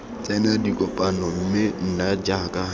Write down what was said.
tsena dikopano mme nna jaaka